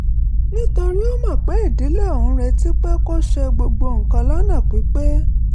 nítorí ó mọ̀ pé ìdílé òun ń retí pé kó ṣe gbogbo nǹkan lọ́nà pípé